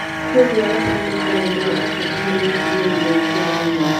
Kwoguo arata nĩ makoragwo marĩ a bata harĩ gũkũria ũgima waku wa mwĩrĩ.